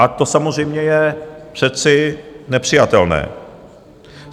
A to samozřejmě je přece nepřijatelné.